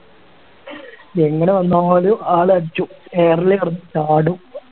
എങ്ങനെ വന്നാലും ആള് അടിച്ചും air ല് കെടന്ന് ചാടും